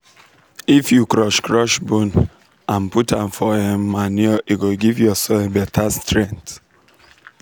if you crush crush bone and put am for um manure e go give your soil better strength.